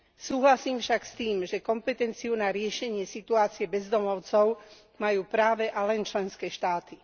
Súhlasím však s tým, že kompetenciu na riešenie situácie bezdomovcov majú práve a len členské štáty.